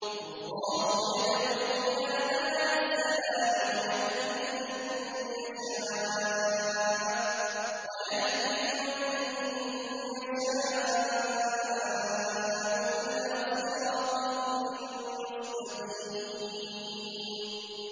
وَاللَّهُ يَدْعُو إِلَىٰ دَارِ السَّلَامِ وَيَهْدِي مَن يَشَاءُ إِلَىٰ صِرَاطٍ مُّسْتَقِيمٍ